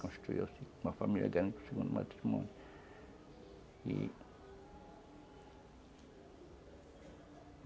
Construiu uma família grande para o segundo matrimônio.